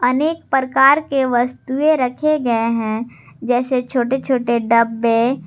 अनेक प्रकार के वस्तुएं रखे गए हैं जैसे छोटे छोटे डब्बे।